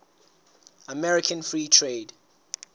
american free trade